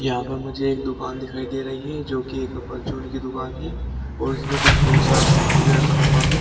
यहां पर मुझे एक दुकान दिखाई दे रही है जो कि एक परचून की दुकान है और इसमें कुछ बहुत सारा समान भी रखा हुआ है।